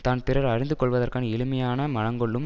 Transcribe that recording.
தான் பிறர் அறிந்து கொள்ளுவதற்கு எளிமையாக மனங்கொள்ளும்